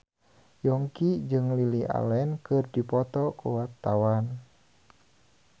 Yongki jeung Lily Allen keur dipoto ku wartawan